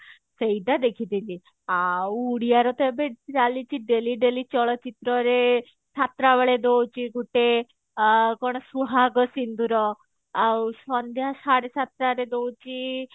ସେଇଟା ଦେଖିଥିଲି ଆଉ ଉଡିଆରେ ତ ଏବେ ଚାଲିଛି daily daily ଚଳଚିତ୍ରରେ ସାତଟା ବେଳେ ଦଉଛି ଗୋଟେ କଣ ସୁହାଗ ସିନ୍ଦୁର ଆଉ ସନ୍ଧ୍ୟା ସାଢେ ସାତଟାରେ ଦଉଛି